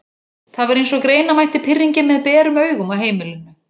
Það var eins og greina mætti pirringinn með berum augum á heimilinu.